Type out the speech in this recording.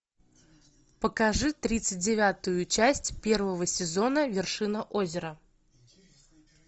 покажи тридцать девятую часть первого сезона вершина озера